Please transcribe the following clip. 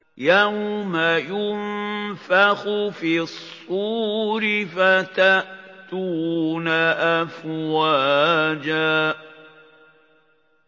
يَوْمَ يُنفَخُ فِي الصُّورِ فَتَأْتُونَ أَفْوَاجًا